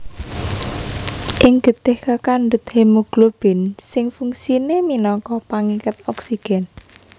Ing getih kakandhut hemoglobin sing fungsiné minangka pangiket oksigèn